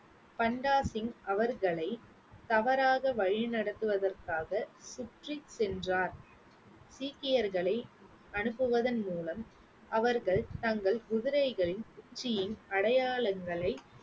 பண்டா சிங் அவர்களை தவறாக வழி நடத்துவதற்காக சுற்றி சென்றார் சீக்கியர்களை அனுப்புவதன் மூலம் அவர்கள் தங்கள் குதிரைகளின் உச்சியின் அடையாளங்களை